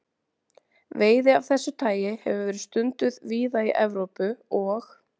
Veiði af þessu tagi hefur verið stunduð víða í Evrópu og